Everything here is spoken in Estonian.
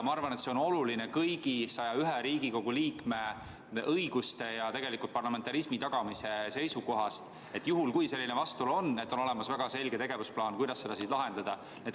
Ma arvan, et kõigi 101 Riigikogu liikme õiguste kaitse ja tegelikult ka parlamentarismi tagamise seisukohast on oluline, et juhul, kui selline vastuolu tekib, oleks olemas väga selge tegevusplaan, kuidas seda probleemi lahendada.